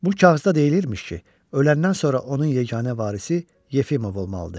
Bu kağızda deyilmiş ki, öləndən sonra onun yeganə varisi Yefimov olmalıdır.